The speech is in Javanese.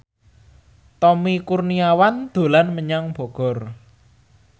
Tommy Kurniawan dolan menyang Bogor